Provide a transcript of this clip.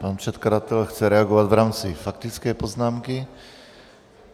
Pan předkladatel chce reagovat v rámci faktické poznámky.